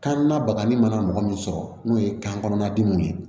Kan na bagani mana mɔgɔ min sɔrɔ n'o ye kan kɔnɔna dimiw ye